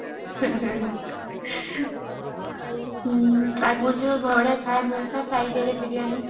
ଆଗରୁ ଯୋଉ ବଢିଆ ଖାଇବା ମିଳିଥିଲା friday ରେ ବିରିଆନୀ